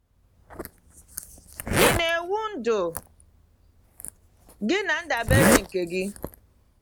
Ị na-ewu ndụ gị na ndabere nke gị?